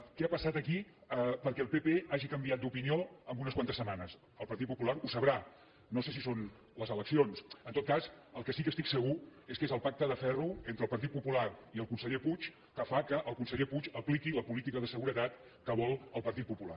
què ha passat aquí perquè el pp hagi canviat d’opinió en unes quantes setmanes el partit popular ho deu saber no sé si són les eleccions en tot cas el que sí que estic segur és que és el pacte de ferro entre el partit popular i el conseller puig el que fa que el conseller puig apliqui la política de seguretat que vol el partit popular